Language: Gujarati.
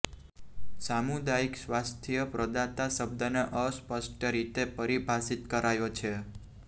સામુદાયિક સ્વાસ્થ્ય પ્રદાતા શબ્દને અસ્પષ્ટ રીતે પરિભાષિત કરાયો છે